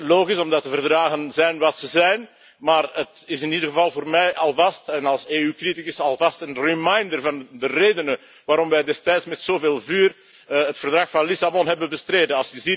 Logisch, omdat de verdragen zijn wat ze zijn, maar het is in ieder geval voor mij, en als EU criticus alvast een reminder van de redenen waarom wij destijds met zoveel vuur het Verdrag van Lissabon hebben bestreden.